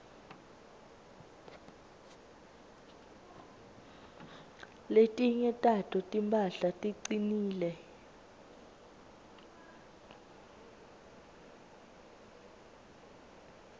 letinye tato timphahla ticinile